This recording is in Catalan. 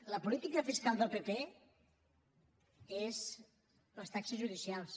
la política fiscal del pp són les taxes judicials